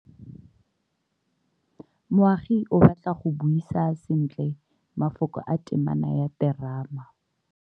Moagi o batla go buisa sentle, mafoko a temana ya terama.